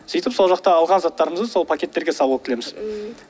сөйтіп сол жақта алған заттарымызды сол пакеттерге салып алып келеміз ммм